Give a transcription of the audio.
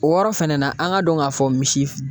O yɔrɔ fɛnɛ na, an k'a dɔn k'a fɔ misi